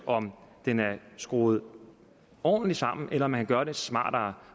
om den er skruet ordentligt sammen eller om man kan gøre det smartere